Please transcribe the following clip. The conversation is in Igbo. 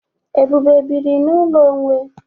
Ebube biri n'ụlọ onwe.